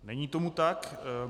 Není tomu tak.